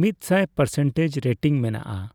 ᱢᱤᱛᱥᱟᱭ percentage rating ᱢᱮᱱᱟᱜᱼᱟ ᱾